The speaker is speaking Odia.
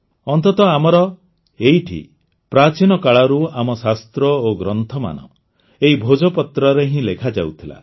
ଅନ୍ତତଃ ଆମର ଏଇଠି ପ୍ରାଚୀନ କାଳରୁ ଆମ ଶାସ୍ତ୍ର ଓ ଗ୍ରନ୍ଥମାନ ଏହି ଭୋଜପତ୍ରରେ ହିଁ ଲେଖାଯାଉଥିଲା